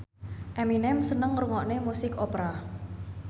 Eminem seneng ngrungokne musik opera